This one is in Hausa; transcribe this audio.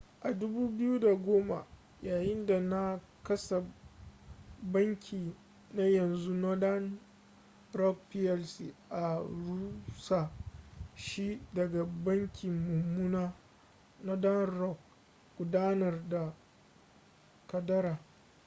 a 2010 yayinda na kasa banki na yanzu northern rock plc an rusa shi daga ‘banki mummuna’ northern rock gudanar da kadara